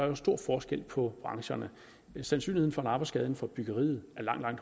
jo stor forskel på brancherne sandsynligheden for en arbejdsskade inden for byggeriet er langt langt